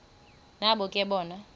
nabo ke bona